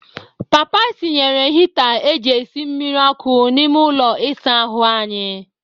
Papa tinyere hita e ji esi mmiri ọkụ n'ime ụlọ isa ahụ anyị.